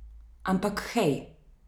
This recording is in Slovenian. Ampak hej.